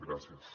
gràcies